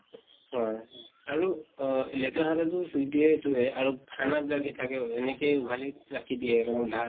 হয় আৰু অহ লেতেৰা হাতে টো চুই দিয়ে এইটোয়ে আৰু খানাত লাগি থাকে, এনেকেই উঘালি ৰাখি দিয়ে কোনো ঢাকা